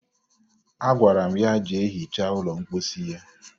Agwara m ya jee hichaa ụlọ mposi ya